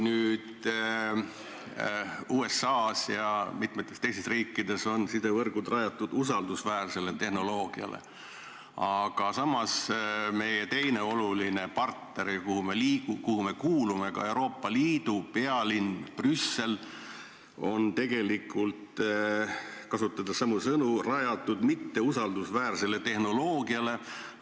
Nüüd, USA-s ja mitmetes teistes riikides on sidevõrgud rajatud usaldusväärsele tehnoloogiale, aga samas meie teise olulise partneri, Euroopa Liidu pealinn Brüssel on tegelikult – kasutades samu sõnu – rajatud mitteusaldusväärsele tehnoloogiale.